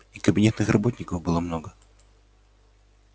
и кабинетных работников было много